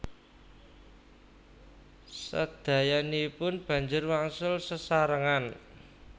Sadayanipun banjur wangsul sesarengan